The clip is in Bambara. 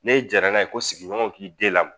N'e jara n'a ye ko sigiɲɔgɔnw k'i den lamɔ